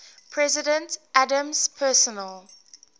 president adams's personal